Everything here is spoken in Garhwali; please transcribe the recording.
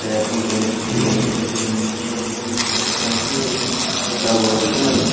भैर फूंड जींस लगीं छन तीन छे जींस छन इथा छन लगीं कपड़ा वफड़ा भी छन लग्यां।